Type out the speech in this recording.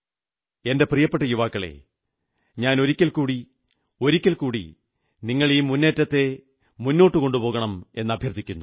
എന്റെ പ്രിയപ്പെട്ട യുവാക്കളേ ഞാൻ വീണ്ടും ഒരിക്കൽകൂടി ഒരിക്കൽകൂടി നിങ്ങൾ ഈ മുന്നേറ്റത്തെ മുന്നോട്ടു കൊണ്ടുപോകണമെന്നഭ്യർഥിക്കുന്നു